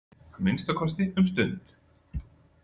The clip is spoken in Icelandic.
Að minnsta kosti um stund.